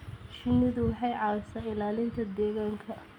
Shinnidu waxay caawisaa ilaalinta deegaanka.